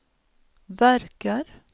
verkar